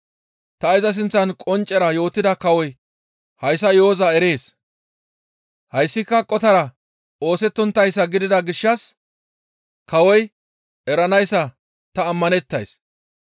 Ta iza sinththan qonccera yootida kawoy hayssa yo7oza erees; hayssika qotara oosettonttayssa gidida gishshas kawoy eranayssa ta ammanettays.